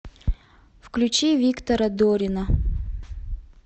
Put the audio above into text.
включи виктора дорина